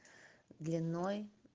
длиной